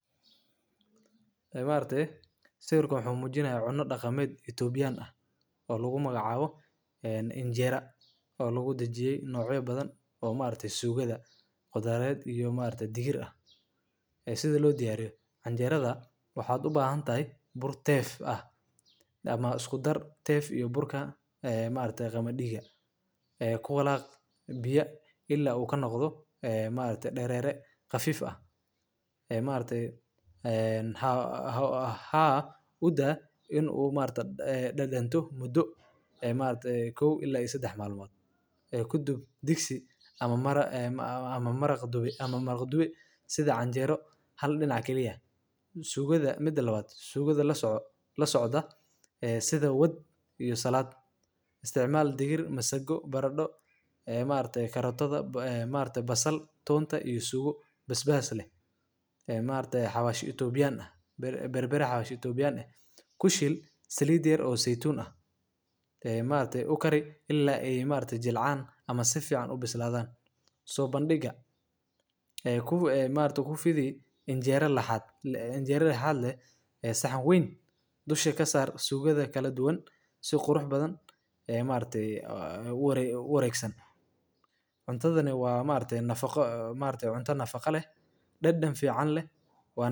Ee ma aragte sawirkan wuxuu mujinayaa cuno daqameed itobian ah oo lagu magacawo cajera oo lagudajiye nocya badan oo ma aragtesugaada qudhaar ee si lodiyariyo canjeradha, waxaa u bahantahay iskudarka tef iyo qaamadiga ee kuwalaq biya ila u kanoqda biya dareer ee maragte haa udaa in ee dadanto mudo kadiib ee maaragte kow ila sadax dub disiga maraq dube hal dinac kali eh, mida lawaa lasocda sitha salad barado ee maragte karotadha maragte basasha tonta iyo tugo ee maragte xawashi itobian bar bara xawshi salid yar oo seitun ah ilala ee jilcan ama sifican ubisladhan sobandiga maragta canjeera saxan weyn dusha kasar si ee ma aragta.u waregsan cuntadhani waaa cunta nafaqa leh dadan fican leh wana.